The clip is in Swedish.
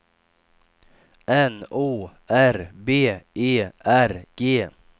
N O R B E R G